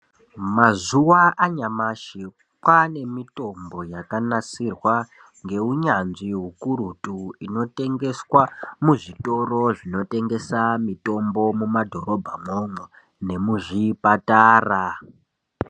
Mazuwa anyamashi kwaane mitombo yakanasirwa ngeunyanzvi ukurutu inotengeswa muzvitoro zvinotengesa mitombo mumadhorobha mwomwo nemuzvipatara.